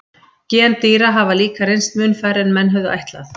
Gen dýra hafa líka reynst mun færri en menn höfðu ætlað.